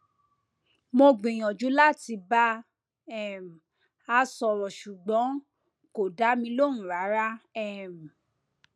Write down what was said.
mo gbìyànjú láti bá um a sọrọ ṣùgbọn kò dá mi lóhùn rárá um